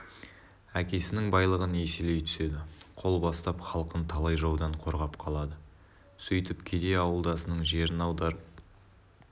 әкесінің байлығын еселей түседі қол бастап халқын талай жаудан қорғап қалады сөйтіп кедей ауылдасының жерін аударып